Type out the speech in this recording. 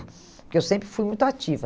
Porque eu sempre fui muito ativa.